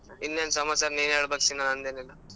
ಇನ್ನೇನ್ ಸಮಾಚಾರ ನೀನೆ ಹೇಳಬೇಕ್ ಸೀನಾ ನಂದೇನಿಲ್ಲ.